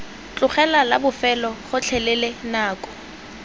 tlogela la bofelo gotlhelele nako